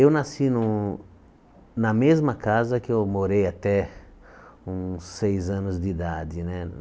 Eu nasci no na mesma casa que eu morei até uns seis anos de idade né.